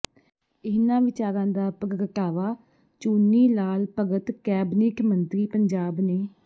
ਇਹਨਾਂ ਵਿਚਾਰਾਂ ਦਾ ਪ੍ਰਗਟਾਵਾ ਚੂਨੀ ਲਾਲ ਭਗਤ ਕੈਬਨਿਟ ਮੰਤਰੀ ਪੰਜਾਬ ਨੇ